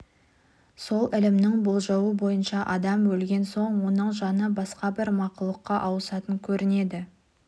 сол ілімнің болжауы бойынша адам өлген соң оның жаны басқа бір мақұлыққа ауысатын көрінеді